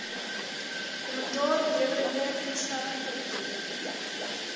kommentaarlewerende instelling optree